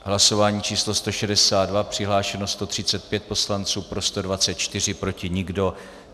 Hlasování číslo 162, přihlášeno 135 poslanců, pro 124, proti nikdo.